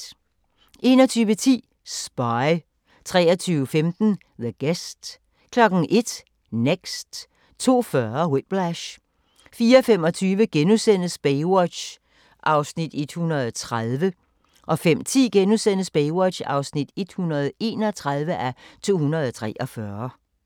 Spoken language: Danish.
21:10: Spy 23:15: The Guest 01:00: Next 02:40: Whiplash 04:25: Baywatch (130:243)* 05:10: Baywatch (131:243)*